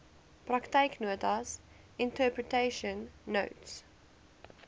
praktyknotas interpretation notes